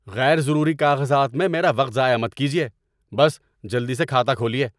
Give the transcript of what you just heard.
غیر ضروری کاغذات میں میرا وقت ضائع مت کیجیے۔ بس جلدی سے کھاتہ کھولیے!